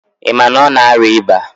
Ị ma na ọ na-arịa ịba?